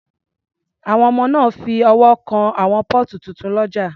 Àwọn ọmọ náà fi ọwọ́ kan àwọn póòtù tuntun lọ́jà